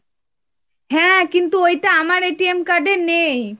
হ্যাঁ, কিন্তু ওইটা আমার card এ নেই।